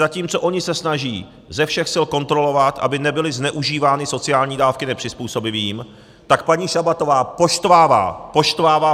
Zatímco oni se snaží ze všech sil kontrolovat, aby nebyly zneužívány sociální dávky nepřizpůsobivými, tak paní Šabatová poštvává - poštvává!